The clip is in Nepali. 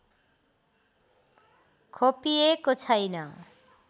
खोपिएको छैन